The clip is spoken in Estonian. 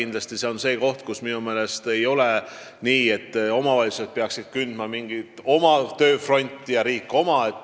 Ning minu meelest ei ole nii, et omavalitsused peaksid kündma mingit oma tööpõldu ja riik oma.